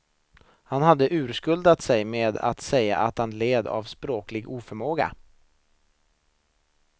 Han hade urskuldat sig med att säga att han nog led av språklig oförmåga.